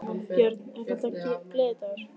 Björn: Er þetta gleðidagur?